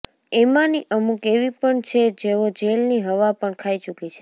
એમાંની અમુક એવી પણ છે જેઓ જેલ ની હવા પણ ખાઈ ચુકી છે